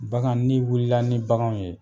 Bagan ni wulila ni baganw ye.